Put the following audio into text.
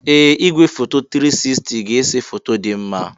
Ee! Igwefoto 360 ga-ese foto dị mma.